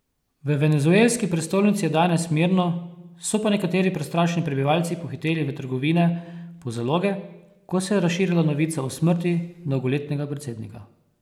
V venezuelski prestolnici je danes mirno, so pa nekateri prestrašeni prebivalci pohiteli v trgovine po zaloge, ko se je razširila novica o smrti dolgoletnega predsednika.